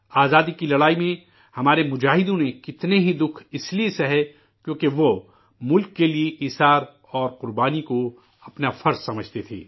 آزادی کے لڑائی میں ہمارے مجاہدین نے کتنے ہی تکلیف اسلئے برداشت کیے ، کیونکہ، وہ ملک کے لیے قربانی کو اپنا فرض سمجھتے تھے